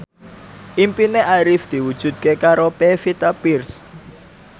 impine Arif diwujudke karo Pevita Pearce